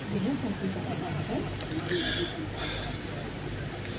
यह circuit diagram है